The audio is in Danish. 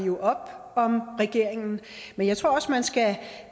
op om regeringen men jeg tror også man skal